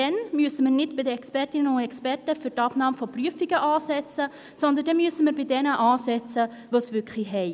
Dann müssen wir aber nicht bei den Expertinnen und Experten für die Abnahme von Prüfungen ansetzen, sondern bei jenen, welche darüber verfügen.